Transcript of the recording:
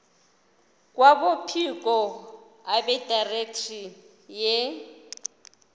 kwabophiko abedirectorate ye